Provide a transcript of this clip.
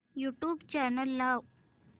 YouTube channel लाव